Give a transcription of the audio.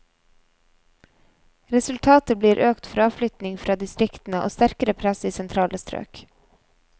Resultatet blir økt fraflytting fra distriktene og sterkere press i sentrale strøk.